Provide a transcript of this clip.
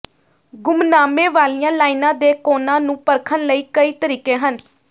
ਗੁੰਮਨਾਮੇ ਵਾਲੀਆਂ ਲਾਈਨਾਂ ਦੇ ਕੋਣਾਂ ਨੂੰ ਪਰਖਣ ਲਈ ਕਈ ਤਰੀਕੇ ਹਨ